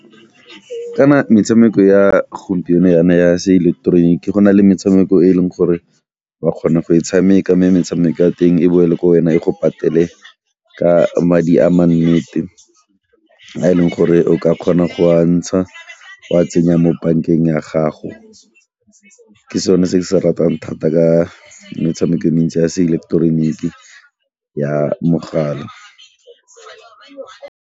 Kana metshameko ya gompieno yana ya seileketeroniki go na le metshameko e e leng gore wa kgona go e tshameka mme metshameko ya teng e boela ko wena e go patele ka madi a ma nnete a e leng gore o ka kgona go a ntsha o a tsenya mo bankeng ya gago. Ke sone se ke se ratang thata ka metshameko e mentsi ya seileketeroniki ya mogala.